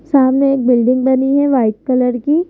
सामने एक बिल्डिंग बनी है वाइट कलर की ।